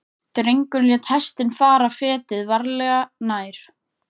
Drengurinn lét hestinn fara fetið, varlega, nær.